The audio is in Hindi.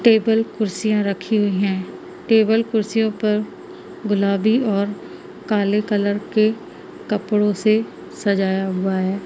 टेबल कुर्सियां रखी हुई हैं टेबल कुर्सियों पर गुलाबी और काले कलर के पकड़ों से सजाया हुआ है।